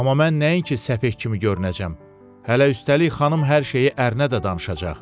Amma mən nəinki səfeh kimi görünəcəm, hələ üstəlik xanım hər şeyi ərinə də danışacaq.